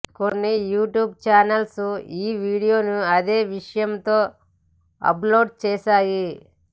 కొన్ని YouTube channels ఈ వీడియోను అదే విషయంతో అప్ లోడ్ చేశాయి